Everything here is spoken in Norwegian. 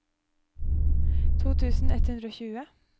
to tusen ett hundre og tjue